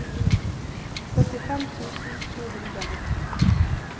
syttifem tusen to hundre og nitten